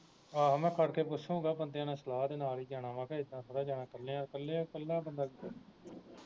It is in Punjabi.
ਆਹੋ ਮੈਂ ਭਲਕੇ ਪੁਛੁਗਾ ਬੰਦਿਆਂ ਨਾਲ ਸਲਾਹ ਦੇ ਨਾਲ ਈ ਜਾਣਾ ਵਾ ਕਿ ਇੱਦਾਂ ਥੋੜੀ ਜਾਣਾ ਕੱਲਿਆਂ ਕੱਲਿਆਂ ਕੱਲਾ ਬੰਦਾ